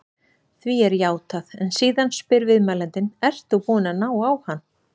Því er játað en síðan spyr viðmælandinn: Ert þú búinn að ná á hann?